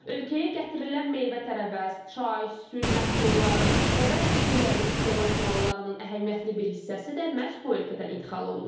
Ölkəyə gətirilən meyvə-tərəvəz, çay, süd məhsulları və bəzi gündəlik istehlak mallarının əhəmiyyətli bir hissəsi də məhz bu ölkədən ixal olunur.